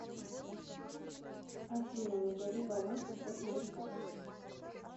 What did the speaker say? афина назови баланс всех моих карт